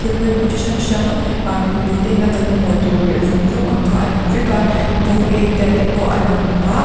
thil pawimawh chi hrang hrang ah mipui te in a kan mamawh tur zawng zawng ang kha a lang vek a colgate te pawh a lang a.